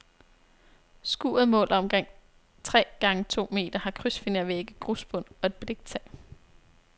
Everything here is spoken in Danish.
Skuret måler omkring tre gange to meter, har krydsfinervægge, grusbund og et bliktag.